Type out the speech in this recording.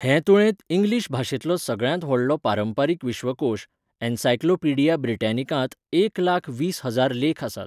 हे तुळेंत इंग्लीश भाशेंतलो सगळ्यांत व्हडलो पारंपारीक विश्वकोश, 'एनसाइक्लोपीडिया ब्रिटॅनिकां'त एक लाख वीस हजार लेख आसात.